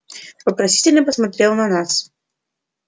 вопросительно посмотрел на нас